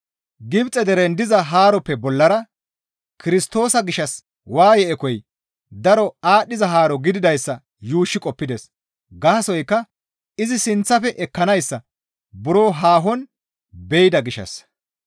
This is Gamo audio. Gibxe deren diza haaroppe bollara Kirstoosa gishshas waaye ekoy daro aadhdhiza haaro gididayssa yuushshi qoppides; gaasoykka izi sinththafe ekkanayssa buro haahon be7ida gishshassa.